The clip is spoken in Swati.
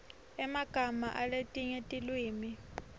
emagama aletinye tilwimi